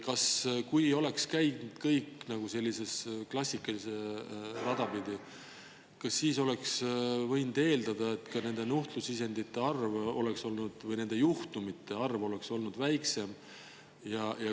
Kas võib eeldada, et kui kõik oleks käinud klassikalist rada pidi, siis oleks nuhtlusisendite arv või nende juhtumite arv olnud väiksem?